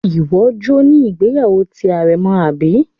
Iwọ jọ ni ìgbéyàwó ti arẹ̀mọ abi?